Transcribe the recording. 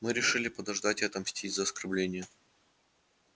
мы решили подождать и отомстить за оскорбление